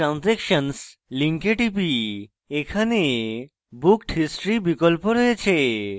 my transactions link টিপি এখানে booked history বিকল্প রয়েছে